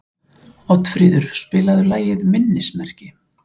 Oddfríður, spilaðu lagið „Minnismerki“.